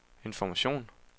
information